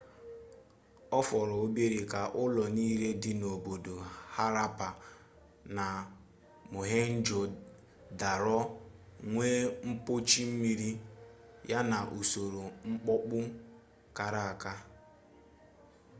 ọ fọrọ obere ka ụlọ niile dị n'obodo harappa na mohenjo-daro nwee mpochi mmiri ya na usoro mkpopu kara aka